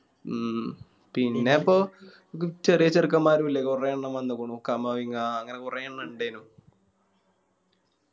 ഉം പിന്ന ഇപ്പൊ ചെറിയ ചെറുക്കൻ മാരും ഇല്ലേ കൊറെണ്ണം വന്നേക്കുന്നു കമവിങ്ങാ അങ്ങനെ കൊറെണ്ണം ഇണ്ടെനു